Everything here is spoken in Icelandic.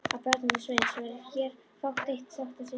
Af börnum Sveins verður hér fátt eitt sagt að sinni.